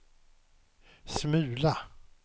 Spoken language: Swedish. smula